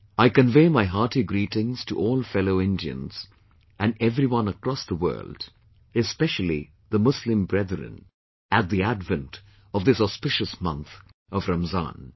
I convey my hearty greetings to all fellow Indians and everyone across the world, especially the Muslim brethren at the advent of this auspicious month of Ramazan